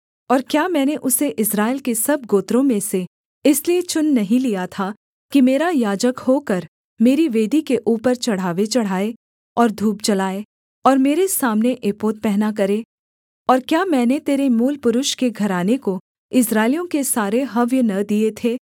और क्या मैंने उसे इस्राएल के सब गोत्रों में से इसलिए चुन नहीं लिया था कि मेरा याजक होकर मेरी वेदी के ऊपर चढ़ावे चढ़ाए और धूप जलाए और मेरे सामने एपोद पहना करे और क्या मैंने तेरे मूलपुरुष के घराने को इस्राएलियों के सारे हव्य न दिए थे